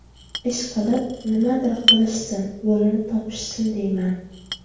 Ishqilib, nimadir qilishsin, yo‘lini topishsin deyman.